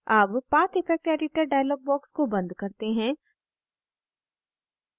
अब path effect editor dialog box को बंद करते हैं